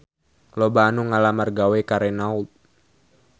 Loba anu ngalamar gawe ka Renault